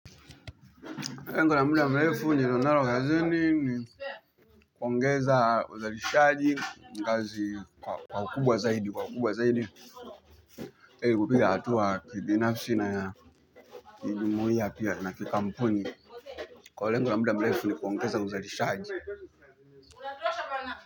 Lengo la muda mrefu nililo nalo kazi ni ni kuongeza uzarishaji kazi kwa ukubwa zaidi kwa ukubwa zaidi Eli kupiga hatua kibinafsi na ya Kijumuhia pia na kikampuni kwa lengo la muda mrefu ni kuongeza uzarishaji.